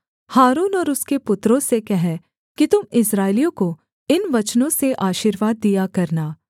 हारून और उसके पुत्रों से कह कि तुम इस्राएलियों को इन वचनों से आशीर्वाद दिया करना